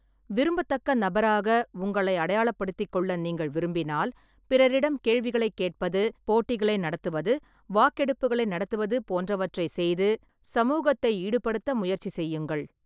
விரும்பத்தக்க நபராக உங்களை அடையாளப்படுத்திக்கொள்ள நீங்கள் விரும்பினால், பிறரிடம் கேள்விகளைக் கேட்பது, போட்டிகளை நடத்துவது, வாக்கெடுப்புகளை நடத்துவது போன்றவற்றைச் செய்து சமூகத்தை ஈடுபடுத்த முயற்சி செய்யுங்கள்.